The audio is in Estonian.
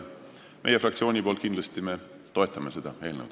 Meie fraktsioon kindlasti toetab seda eelnõu.